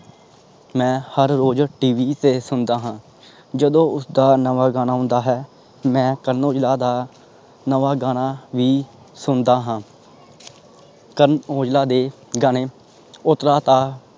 ਮੈਂ ਹਰ ਰੋਜ T V ਤੇ ਸੁਣਦਾ ਹਾਂ ਜਦੋਂ ਉਸਦਾ ਨਵਾਂ ਗਾਣਾ ਔਂਦਾ ਹੈ ਮੈਂ ਕਰਨ ਔਜਲਾ ਦਾ ਨਵਾਂ ਗਾਣਾ ਹੀ ਸੁਣਦਾ ਹਾਂ ਕਰਨ ਔਜਲਾ ਦੇ ਗਾਣੇ